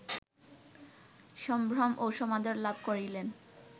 সম্ভ্রম ও সমাদর লাভ করিলেন